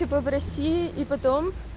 типа в россии и потом